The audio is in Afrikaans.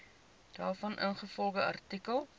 daarvan ingevolge artikel